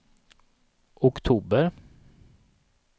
oktober